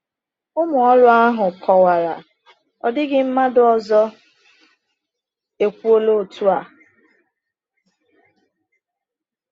Ụmụ ọrụ ahụ kọwara: “Ọ dịghị mmadụ ọzọ ekwuola otu a.”